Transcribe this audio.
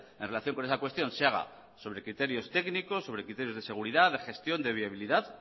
en relación con esa cuestión se haga sobre criterios técnicos sobre criterios de seguridad de gestión de viabilidad